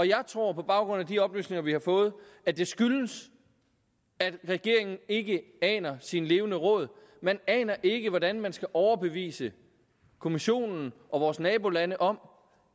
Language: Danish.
jeg tror på baggrund af de oplysninger vi har fået at det skyldes at regeringen ikke aner sine levende råd man aner ikke hvordan man skal overbevise kommissionen og vores nabolande om